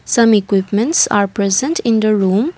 some equipments are present in the room.